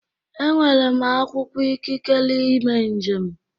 Enwere m akwụkwọ ikikere ime njem.